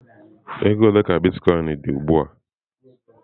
Ego ole ka m bara Bitkoinsị ka ọ dị ugbu a?